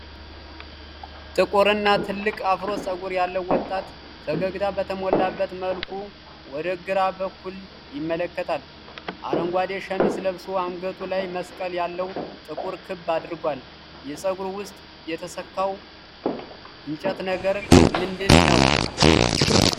ጥቁር እና ትልቅ አፍሮ ፀጉር ያለው ወጣት፣ ፈገግታ በተሞላበት መልኩ ወደ ግራ በኩል ይመለከታል። አረንጓዴ ሸሚዝ ለብሶ፣ አንገቱ ላይ መስቀል ያለው ጥቁር ክር አድርጓል። የፀጉሩ ውስጥ የተሰካው የእንጨት ነገር ምንድነው?